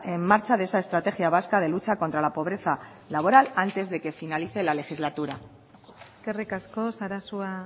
en marcha de esa estrategia vasca de lucha contra la pobreza laboral antes de que finalice la legislatura eskerrik asko sarasua